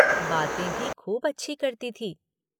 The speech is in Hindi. बातें भी खूब अच्छी करती थी।